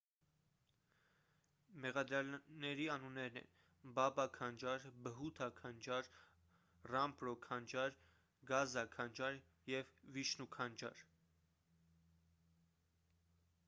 մեղադրյալների անուններն են բաբա քանջար բհութա քանջար ռամպրո քանջար գազա քանջար և վիշնու քանջար